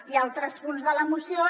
i en altres punts de la moció